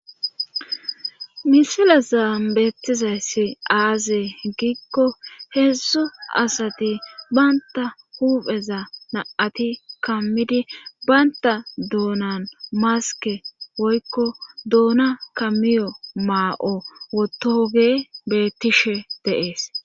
Misila zaambeettizayssi aazee giikko heedzzu asati baynta huupheza naati kammidi baynta doonan maske woykko doona kamiyo maa7o wotoge beettishe deees